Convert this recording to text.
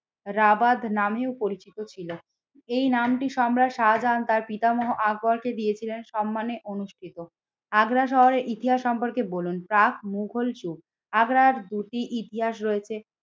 Rabat নামেও পরিচিত ছিল। এই নামটি সম্রাট শাহাজাহান তার পিতামহ আকবরকে দিয়েছিলেন সম্মানে অনুষ্ঠিত। আগ্রা শহরের ইতিহাস সম্পর্কে বলুন, প্রাগ মুঘল যুগ আগ্রার দুটি ইতিহাস রয়েছে